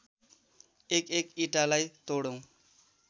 एकएक इँटालाई तोडौँ